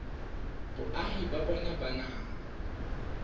boahi ba bona ba naha